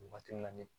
Waati min na ni